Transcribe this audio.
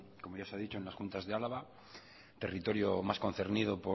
como ya se ha dicho en las juntas de álava territorio más concernido